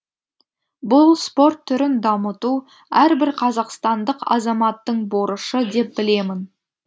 бұл спорт түрін дамыту әрбір қазақстандық азаматтың борышы деп білемін